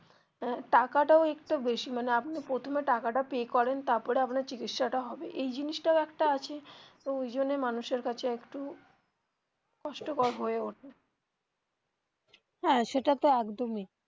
আহ টাকাটাও একটু বেশি মানে আপনি প্রথমে টাকাটা pay করেন তারপরে আপনার চিকিৎসা টা হবে এই জিনিসটাও একটা আছে ওই জন্য মানুষ এর কাছে একটু কষ্টকর হয়ে ওঠে হ্যা সেটা তো একদমই.